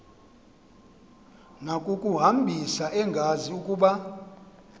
nakukuhambisa engazi ukuba